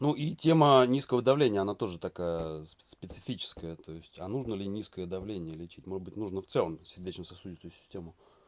ну и тема низкого давления она тоже такая специфическая то есть а нужно ли низкое давление лечить может быть нужно в целом сердечно-сосудистую систему